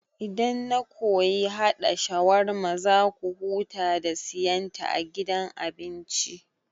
Idan na koyi haɗa shawarma za ku huta da siyan ta a gidan abinci